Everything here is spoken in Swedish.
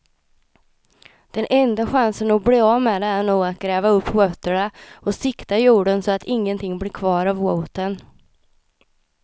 Den enda chansen att bli av med det är nog att gräva upp rötterna och sikta jorden så att ingenting blir kvar av roten.